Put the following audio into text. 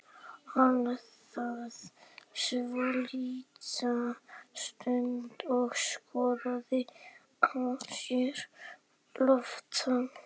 Hann þagði svolitla stund og skoðaði á sér lófana.